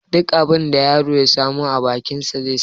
Duk abin da yaron ya samu a bakin shi zai sa.